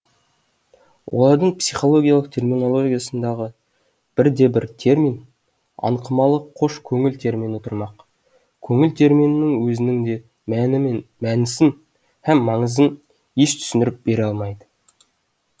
олардың психологиялық терминологиясындағы бір де бір термин аңқымалық қош көңіл термині тұрмақ көңіл терминінің өзінің де мәні мен мәнісін һәм маңызын еш түсіндіріп бере алмайды